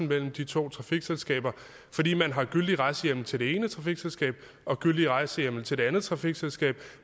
mellem de to trafikselskaber fordi man havde gyldigt rejsehjemmel til det ene trafikselskab og gyldigt rejsehjemmel til det andet trafikselskab